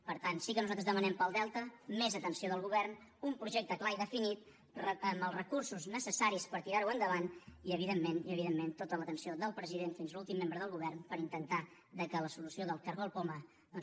per tant sí que nosaltres demanem per al delta més atenció del govern un projecte clar i definit amb els recursos necessaris per tirar ho endavant i evidentment i evidentment tota l’atenció del president fins a l’últim membre del govern per intentar que la solució del cargol poma doncs